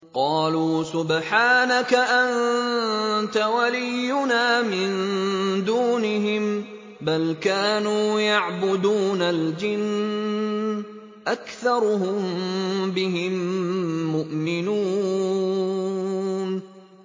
قَالُوا سُبْحَانَكَ أَنتَ وَلِيُّنَا مِن دُونِهِم ۖ بَلْ كَانُوا يَعْبُدُونَ الْجِنَّ ۖ أَكْثَرُهُم بِهِم مُّؤْمِنُونَ